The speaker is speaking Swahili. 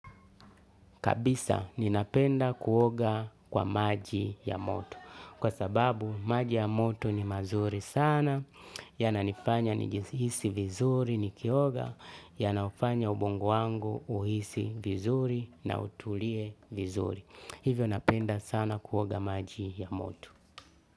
Kabisa ninapenda kuoga kwa maji ya moto. Kwa sababu maji ya moto ni mazuri sana. Yananifanya nijihisi vizuri nikioga. Yanafanya ubongo wangu uhisi vizuri na utulie vizuri. Hivyo napenda sana kuoga maji ya moto.